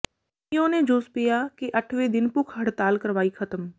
ਈਓ ਨੇ ਜੂਸ ਪਿਆ ਕੇ ਅੱਠਵੇਂ ਦਿਨ ਭੁੱਖ ਹੜਤਾਲ ਕਰਵਾਈ ਖ਼ਤਮ